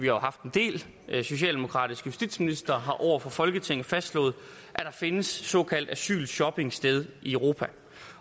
jo haft en del socialdemokratiske justitsministre har over for folketinget fastslået at der finder såkaldt asylshopping sted i europa